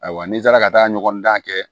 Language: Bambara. Ayiwa ni n taara ka taa ɲɔgɔn dan kɛ